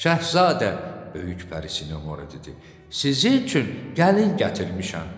“Şahzadə,” böyük pərisi Noremora dedi, “Sizin üçün gəlin gətirmişəm.”